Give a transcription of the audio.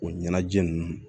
O ɲɛnajɛ ninnu